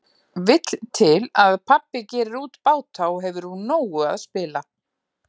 Vill til að pabbi gerir út báta og hefur úr nógu að spila.